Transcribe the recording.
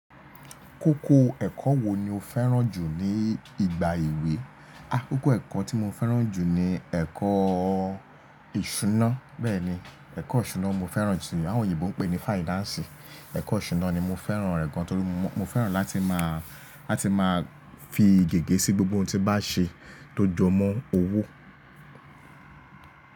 Kókó ẹ̀kọ́ wo ni o fẹ́ràn jù ní ìgbà èwe? Akókó ẹ̀kọ́ tí mo fẹ́ràn jù ni ẹ̀kọ́ ìṣúná. Bẹ́ẹ̀ni, ẹ̀kọ́ ìṣúná ni mo fẹ́ràn jù si Àwọn oyinbọ̀ ń pè ní financi. Ẹ̀kọ́ ìṣúná ni mo fẹ́ràn rẹ̀ gan, torí mo fẹ́ràn láti máa fi ìgege sí gbogbo ohun tí m bá ṣe tó jọmọ́ owó.